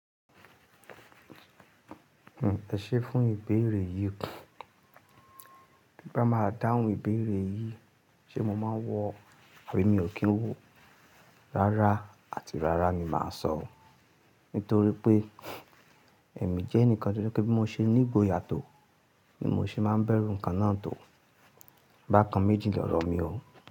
Ẹ ṣé fún ìbéèrè yìí. Bí bá máa dáhùn ìbéèrè yìí, ṣe mo máa wọ àbí mi ò kí n wọ, rárá àti rárá ni màá sọ. Nítorí pé èmi jẹ́ ẹnìkan tí ó jẹ́ pé tí mo ṣe ní ìgboyà tó ni mo ṣe máa ń bẹ̀rù nǹkan náà tó. Bákan méjì lọ̀rọ̀ mi o.